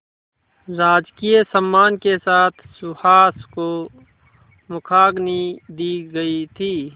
राजकीय सम्मान के साथ सुहास को मुखाग्नि दी गई थी